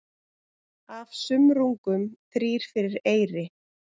Af sumrungum þrír fyrir eyri.